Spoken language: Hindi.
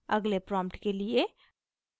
अगले प्रॉम्प्ट के लिए